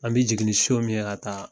An bɛ jiginni son min ye a ta